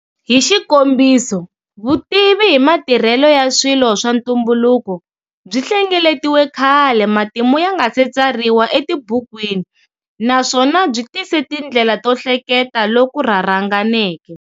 Hixikombiso, vutivi himatirhele ya swilo swa ntumbuluko byi hlengeletiwe khale matimu yangase tsariwa etibukwini nswona byi tise tindlela to hleketa loku rharhanganeke.